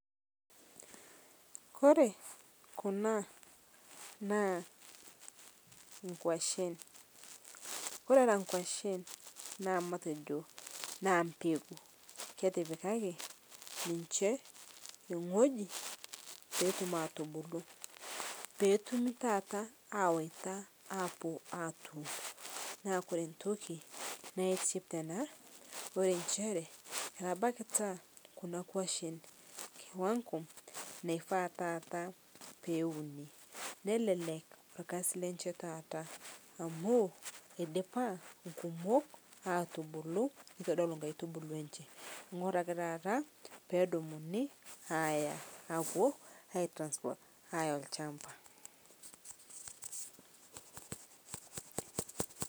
Ore kuna naa nkwashen ore era nkeashen. Na mbegu na ketipikaki ninche ewueji ewoi petum atubulu petumi taata awaita neaku ore entoki nasip tena na nchere keeta kuna kwashen kiwango naifaa taata peuni nelelek orkasi lenye taata amu idipa irkumok atubulu ituedol nkaitubulu enyenak ore ake tata pedumuni nepuoi ai transport aya olchamba